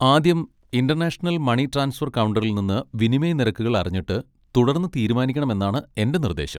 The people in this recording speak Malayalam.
ആദ്യം ഇന്റർനാഷണൽ മണി ട്രാൻസ്ഫർ കൗണ്ടറിൽ നിന്ന് വിനിമയ നിരക്കുകൾ അറിഞ്ഞിട്ട് തുടർന്ന് തീരുമാനിക്കണമെന്നാണ് എന്റെ നിർദ്ദേശം.